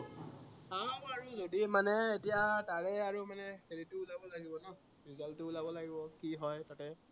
চাও আৰু হেৰি মানে এতিয়া তাৰে আৰু মানে হেৰিটো ওলাব লাগিব ন result টো ওলাব লাগিব, কি হয় মানে